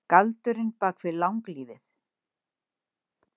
Galdurinn bak við langlífið